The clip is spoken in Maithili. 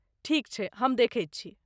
ठीक छै, हम देखैत छी।